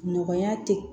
Nɔgɔya te